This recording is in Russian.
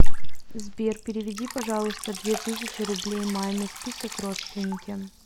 сбер переведи пожалуйста две тысячи рублей маме список родственники